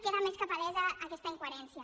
queda més que palesa aquesta incoherència